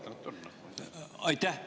Aitäh!